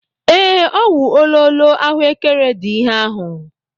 Ee, ọ wụ ololo ahuekere dị ihe ahụ.